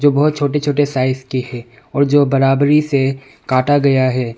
जो बहुत छोटे छोटे साइज की है और जो बराबरी से काटा गया है।